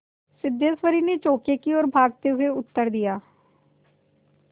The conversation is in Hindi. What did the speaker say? सिद्धेश्वरी ने चौके की ओर भागते हुए उत्तर दिया